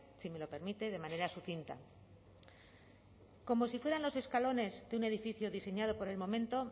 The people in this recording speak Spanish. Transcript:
si me lo permite de manera sucinta como si fueran los escalones de un edificio diseñado por el momento